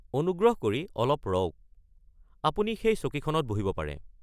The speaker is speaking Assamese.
অনুগ্ৰহ কৰি অলপ ৰওক, আপুনি সেই চকীখনত বহিব পাৰে।